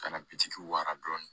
Ka na bitiki waga dɔɔni